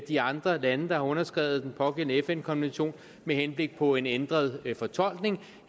de andre lande der har underskrevet den pågældende fn konvention med henblik på en ændret fortolkning